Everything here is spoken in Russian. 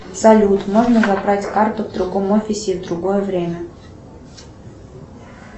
салют можно забрать карту в другом офисе в другое время